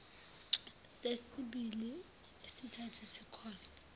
sesibili nesesithathu sikholwa